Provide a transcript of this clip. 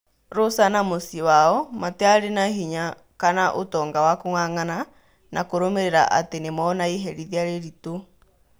Rosa na mũciĩ wao matiari na hinya kana ũtonga wa kung'ang'ana na kũrũmĩrira atĩ nĩmona iherithia rĩritũ.